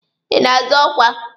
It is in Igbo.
Ị na-azọ ọkwa?